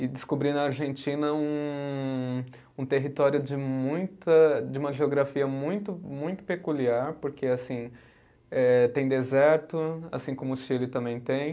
e descobri na Argentina um um território de muita, de uma geografia muito muito peculiar, porque assim eh tem deserto, assim como o Chile também tem,